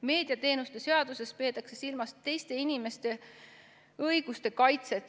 Meediateenuste seaduses peetakse silmas teiste inimeste õiguste kaitset.